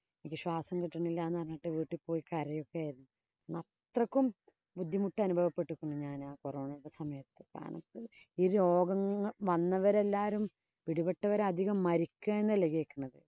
എനിക്ക് ശ്വാസം കിട്ടുന്നില്ല എന്ന് പറഞ്ഞിട്ട് വീട്ടില്‍ പോയി കരയുവൊക്കെ ആയിരുന്നു. അത്രയ്ക്കും ബുദ്ധിമുട്ട് അനുഭവപ്പെട്ടേക്കുന്നു ഞാനാ corona യുടെ സമയത്ത്. ഈ രോഗം വന്നവരെല്ലാം, പിടിപ്പെട്ടവരെല്ലാം അധികം മരിക്കുക എന്നല്ലേ കേക്കണത്.